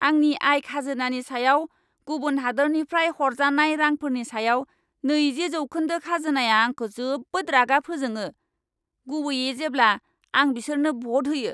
आंनि आय खाजोनानि सायाव गुबुन हादोरनिफ्राय हरजानाय रांफोरनि सायाव नैजि जौखोन्दो खाजोनाया आंखौ जोबोद रागा फोजोङो, गुबैयै जेब्ला आं बिसोरनो भ'ट होयो।